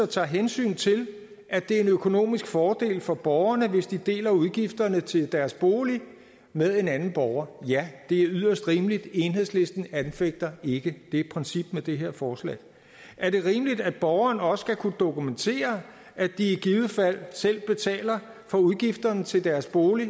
tager hensyn til at det er en økonomisk fordel for borgerne hvis de deler udgifterne til deres bolig med en anden borger ja det er yderst rimeligt enhedslisten anfægter ikke det princip med det her forslag er det rimeligt at borgerne også skal kunne dokumentere at de i givet fald selv betaler for udgifterne til deres bolig